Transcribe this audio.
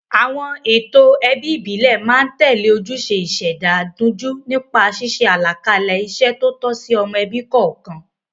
Àwọn ètò ẹbí ìbílẹ̀ máa ń tẹ̀lé ojúṣe ìṣẹ̀dá dunjú nípa ṣíṣe àlàkalẹ̀ iṣẹ́ tó tọ́ sí ọmọ ẹbí kọ̀ọ̀kan.